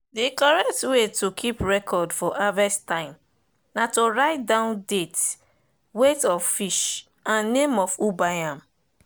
the correct way to keep record for harvest time na to write down date weight size of fish and name of who buy am.